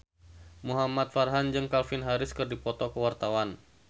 Muhamad Farhan jeung Calvin Harris keur dipoto ku wartawan